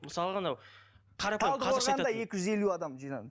мысалға анау қарапайым қазақша айтатын